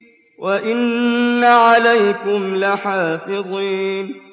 وَإِنَّ عَلَيْكُمْ لَحَافِظِينَ